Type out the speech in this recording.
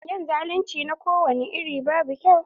Yin zalunci na kowani iri babu kyau.